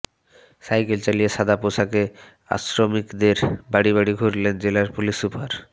cycle চালিয়ে সাদা পোশাকে আশ্রমিকদের বাড়ি বাড়ি ঘুরলেন জেলার পুলিশ সুপার